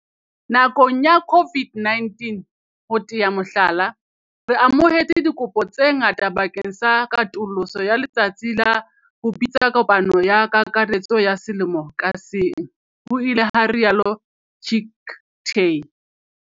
Nakong ya COVID-19, ho tea mohlala, re amohetse dikopo tse ngata bakeng sa katoloso ya letsatsi la ho bitsa kopano ya kakaretso ya selemo ka seng, ho ile ha rialo Chicktay.